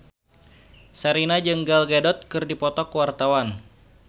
Sherina jeung Gal Gadot keur dipoto ku wartawan